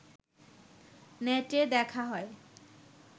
নেটে দেখা হয়